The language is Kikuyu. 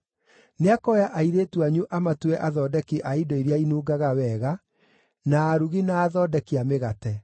Nĩakoya airĩtu anyu amatue athondeki a indo iria inungaga wega, na arugi na athondeki a mĩgate.